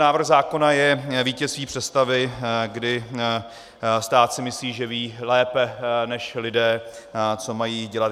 Návrh zákona je vítězství představy, kdy si stát myslí, že ví lépe než lidé, co mají dělat.